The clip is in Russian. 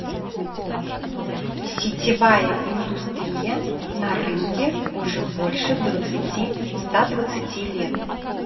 сетевая индустрия на рынке уже больше двадцати ста двадцати лет